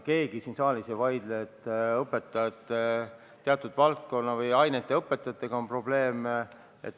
Keegi siin saalis ei vaidle, et teatud valdkonna ainete õpetajatega on probleeme.